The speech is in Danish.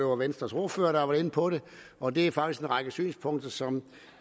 var venstres ordfører der var inde på det og det er faktisk en række synspunkter som